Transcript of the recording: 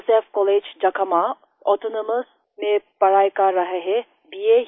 josephएस कॉलेजJakhama ऑटोनोमस में पढ़ाई कर रहा है bआ